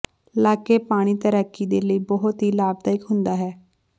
ਲਾਕੇ ਪਾਣੀ ਤੈਰਾਕੀ ਦੇ ਲਈ ਬਹੁਤ ਹੀ ਲਾਭਦਾਇਕ ਹੁੰਦਾ ਹੈ